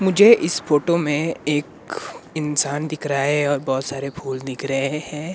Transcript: मुझे इस फोटो में एक इंसान दिख रहा हैं और बहोत सारे फूल दिख रहें हैं।